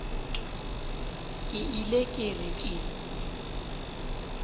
ke ile ke re ke